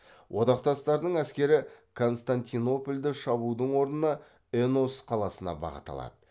одақтастардың әскері константинопольды шабудың орнына энос қаласына бағыт алады